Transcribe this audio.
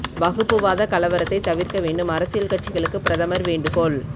வகுப்பு வாத கலவரத்தை தவிர்க்க வேண்டும் அரசியல் கட்சிகளுக்கு பிரதமர் வேண்டு கோள்